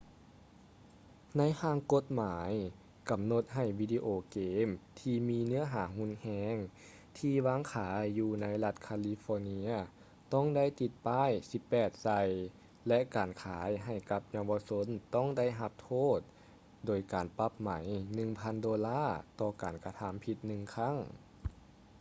ໃນຮ່າງກົດໝາຍ ກຳນົດໃຫ້ວິດີໂອເກມທີ່ມີເນື້ອຫາຮຸນແຮງ ທີ່ວາງຂາຍຢູ່ໃນລັດຄາລີຟໍເນຍ ຕ້ອງໄດ້ຕິດປ້າຍ 18 ໃສ່ ແລະ ການຂາຍໃຫ້ກັບເຍົາວະຊົນຕ້ອງໄດ້ຮັບໂທດໂດຍການປັບໃໝ 1000 ໂດລາ ຕໍ່ການກະທຳຜິດໜຶ່ງຄັ້ງ